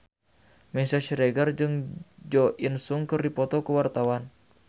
Meisya Siregar jeung Jo In Sung keur dipoto ku wartawan